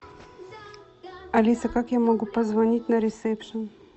алиса как я могу позвонить на ресепшн